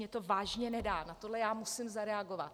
Mně to vážně nedá, na tohle já musím zareagovat.